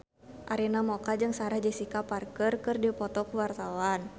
Arina Mocca jeung Sarah Jessica Parker keur dipoto ku wartawan